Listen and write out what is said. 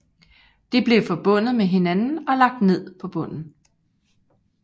De blev forbundet med hinanden og lagt ned på bunden